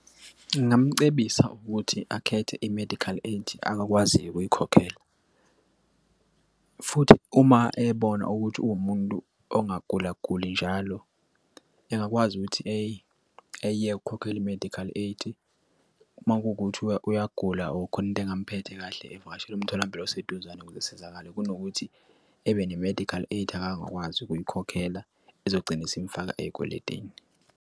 Ngingamcebisa ukuthi akhethe i-medical aid akwaziyo ukuyikhokhela futhi uma ebona ukuthi uwumuntu ongagula guli njalo engakwazi ukuthi eyeke ukhokhele i-medical aid uma kuwukuthi uyagula or khona into engamphethe kahle evakashele umtholampilo oseduzane ukuze esizakale kunokuthi ebe ne-medical aid, akangakwazi ukuyikhokhela ezogcina isimfaka ey'kweletini.